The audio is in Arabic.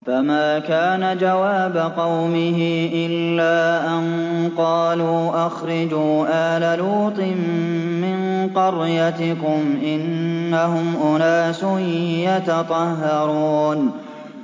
۞ فَمَا كَانَ جَوَابَ قَوْمِهِ إِلَّا أَن قَالُوا أَخْرِجُوا آلَ لُوطٍ مِّن قَرْيَتِكُمْ ۖ إِنَّهُمْ أُنَاسٌ يَتَطَهَّرُونَ